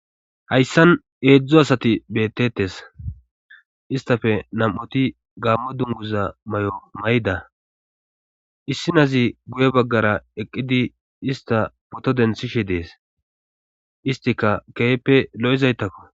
hayssan eedzdzu asati bettettes istafe nam7ati gaammo dunguza may7o may7ida issi nazi guye baggara eqqidi ista poto denthishe dees istika keeeppe lo7izaytakko